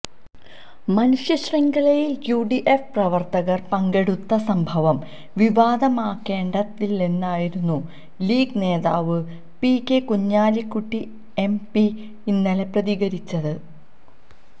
മനുഷ്യശൃംഖലയില് UDF പ്രവര്ത്തകര് പങ്കെടുത്ത സംഭവം വിവാദമാക്കേണ്ടതില്ലെന്നായിരുന്നു ലീഗ് നേതാവ് പി കെ കുഞ്ഞാലിക്കുട്ടി എംപി ഇന്നലെ പ്രതികരിച്ചത്